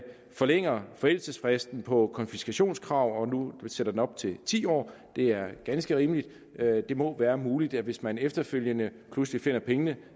forlænger forældelsesfristen på konfiskationskrav og nu sætter den op til ti år det er ganske rimeligt det må være muligt hvis man efterfølgende pludselig finder pengene